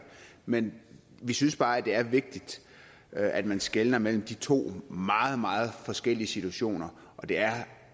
men vi synes bare det er vigtigt at man skelner mellem de to meget meget forskellige situationer og det er